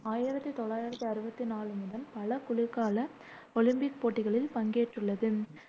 ஆயிரத்தி தொள்ளாயிரத்தி அறுவத்தி நாலு முதல் பல குளிர்கால ஒலிம்பிக் போட்டிகளில் பங்கேற்றுள்ளது